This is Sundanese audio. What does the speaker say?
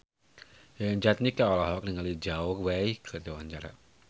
Yayan Jatnika olohok ningali Zhao Wei keur diwawancara